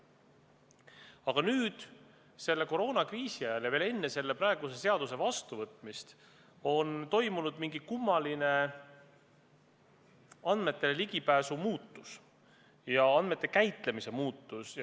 Aga nüüd, selle koroonakriisi ajal ja veel enne praeguse seaduse vastuvõtmist on toimunud mingi kummaline muutus andmetele ligipääsus ja andmete käitlemises.